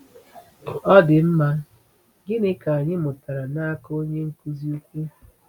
Ọ dị mma, gịnị ka anyị mụtara n’aka Onye Nkuzi Ukwu?